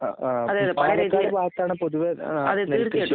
അ. ആഹ്. പാലക്കാട് ഭാഗത്താണ് പൊതുവെ നെൽകൃഷി.